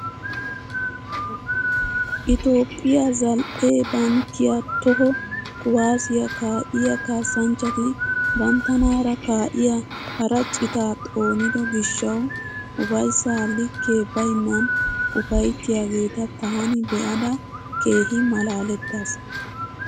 Itoophphiyaa zal"e bankkiyaa toho kuwaasiyaa ka'iyaa kasanchchati banttanaara ka'iyaa hara citaa xoonido giishshawu ufayssaa likkee baynnan ufayttiyaageta taani be'ada keehi malalettaas!